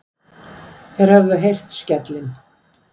Þeir höfðu heyrt skellinn.